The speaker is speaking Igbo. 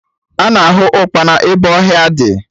Ana ahụ ụkpana ebe ọhịa dị